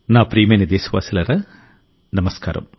నా ప్రియమైన దేశవాసులారా నమస్కారం